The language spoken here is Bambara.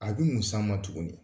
A bi mun s'an ma tuguni ?